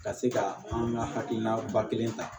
Ka se ka an ka hakilina ba kelen ta